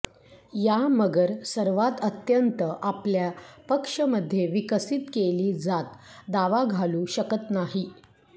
या मगर सर्वात अत्यंत आपल्या पक्ष मध्ये विकसित केली जात दावा घालू शकत नाही